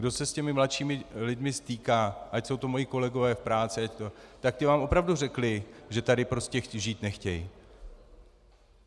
Kdo se s těmi mladšími lidmi stýká, ať jsou to moji kolegové v práci, tak ti vám opravdu řekli, že tady prostě žít nechtějí.